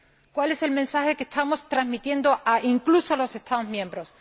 ¿Cuál es el mensaje que estamos transmitiendo incluso a los Estados miembros?